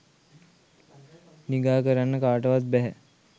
නිගා කරන්න කාටවත් බැහැ.